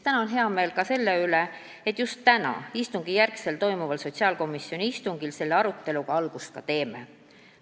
Mul on hea meel ka selle üle, et just täna, täiskogu istungi järel toimuval sotsiaalkomisjoni istungil me selle aruteluga algust teemegi.